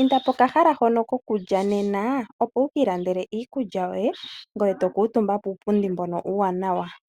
Inda pokahala hono kokulya nena opo wukiilandele iikulya yoye ngoye tokuutumba puupundi mbono uuwanawa.